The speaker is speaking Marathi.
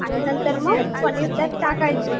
आणि नंतर मग पनीर त्यात टाकायचे.